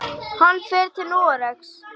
Hann fer til Noregs.